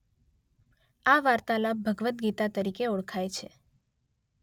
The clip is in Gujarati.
આ વાર્તાલાપ ભગવદ ગીતા તરીકે ઓળખાય છે.